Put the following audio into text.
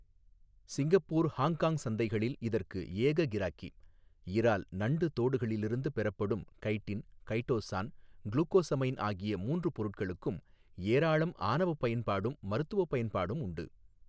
Singapore Hong Kong சந்தைகளில் இதற்கு ஏக கிராக்கி இரால் நண்டு தோடுகளிலிருந்து பெறப்படும் கைடின் கைடோசான் க்ளுகோஸமைன் ஆகிய மூன்று பொருட்களுக்கும் ஏராளம் ஆனவப் பயன்பாடும் மருத்துவப் பயன்பாடும் உண்டு.